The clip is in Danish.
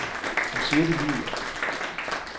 Hun siger det lige ud.